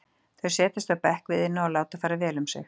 Þau setjast á bekk við Iðnó og láta fara vel um sig.